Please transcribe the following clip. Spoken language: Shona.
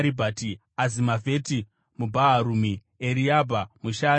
Azimavheti muBhaharumi, Eriabha muShaaribhoni,